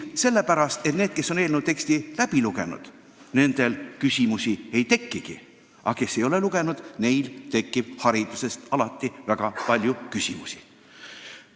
Sellepärast, et nendel, kes on eelnõu teksti läbi lugenud, küsimusi ei tekigi, aga kes ei ole lugenud, neil tekib hariduse teema kohta väga palju küsimusi.